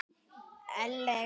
Ellegar Snorri?